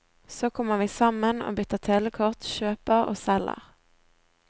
Så kommer vi sammen og bytter telekort, kjøper og selger.